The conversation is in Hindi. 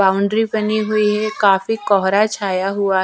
बाउंड्री बनी हुई है काफी कोहरा छाया हुआ--